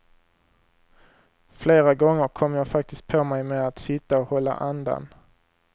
Flera gånger kom jag faktiskt på mig med att sitta och hålla andan.